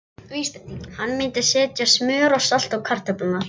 Hann myndi setja smjör og salt á kartöflurnar.